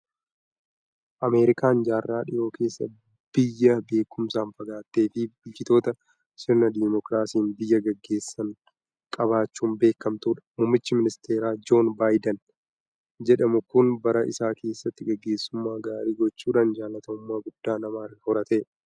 Ameerikaan jaarraa dhiyoo keessa biyya beekumsaan fagaattee fi bulchitoota sirna Dimookiraasiin biyya gaggeessan qabaachuun beekamtudha. Muummichi Ministeeraa Joon Baayiden jedhamu kun bara isaa keessatti gaggeessummaa gaarii gochuudhaan jaalatamummaa guddaa nama horatedha!